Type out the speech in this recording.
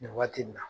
Nin waati nin na